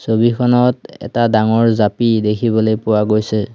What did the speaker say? ছবিখনত এটা ডাঙৰ জাপি দেখিবলৈ পোৱা গৈছে।